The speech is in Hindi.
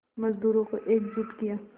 मज़दूरों को एकजुट किया